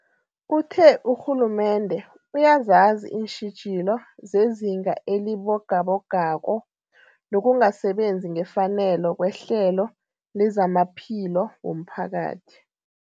Uthe urhulumende uyazazi iintjhijilo zezinga elibogabogako nokungasebenzi ngefanelo kwehlelo lezamaphilo womphakathi.